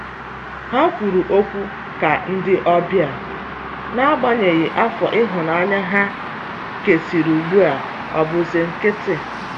Ha kwụrụ ọkwụ ka ndi ọbia, n'agbanyeghi afọ ihunanya ha kesịrị ugbu a ọbụ si nkitị